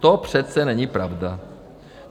To přece není pravda.